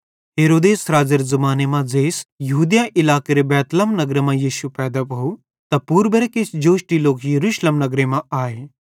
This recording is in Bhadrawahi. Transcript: हेरोदेस राज़ेरे ज़माने मां ज़ेइस यहूदिया इलाकेरे बैतलहम नगरे मां यीशु पैदा भोव त पूर्बेरां किछ जोष्टी लोक यरूशलेम नगरे मां आए